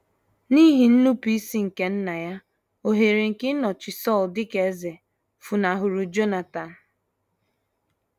N’ihi nnupụisi nke nna ya, ohere nke ịnọchi Sọl dị ka eze funahụrụ Jonatan.